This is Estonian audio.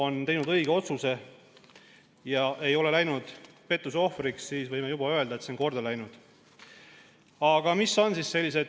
teeb õige otsuse ega lähe pettuse ohvriks, siis võime öelda, et on korda läinud.